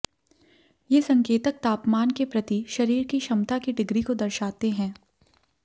ये संकेतक तापमान के प्रति शरीर की क्षमता की डिग्री को दर्शाते हैं